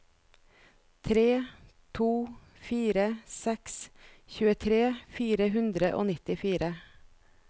tre to fire seks tjuetre fire hundre og nittifire